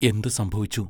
എന്തു സംഭവിച്ചു?